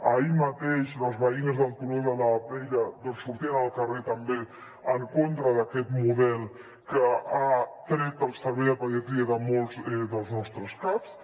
ahir mateix les veïnes del turó de la peira sortien al carrer també en contra d’aquest model que ha tret el servei de pediatria de molts dels nostres caps